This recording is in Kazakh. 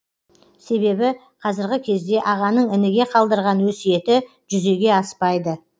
себебі қазіргі кезде ағаның ініге қалдырған өсиеті жүзеге аспайды